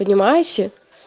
поднимайся